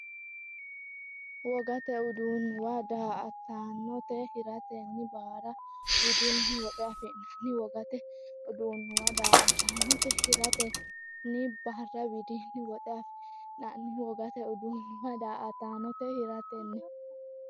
Wogate uduunnuwa daa”ataanote hiratenni baara widinni woxe afi’nanni Wogate uduunnuwa daa”ataanote hiratenni baara widinni woxe afi’nanni Wogate uduunnuwa daa”ataanote hiratenni.